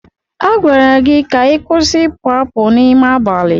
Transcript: A gwara gị ka ị kwụsị ịpụ apụ n'ime abalị!